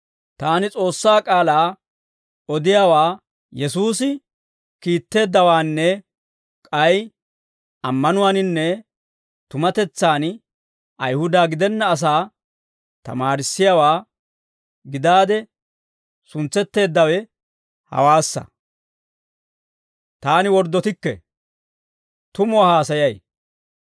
Taani S'oossaa k'aalaa odiyaawaa, Yesuusi kiitteeddawaanne k'ay ammanuwaaninne tumatetsaan Ayihuda gidenna asaa tamaarissiyaawaa gidaade suntseteeddawe hawaassa. Taani worddotikke; tumuwaa haasayay.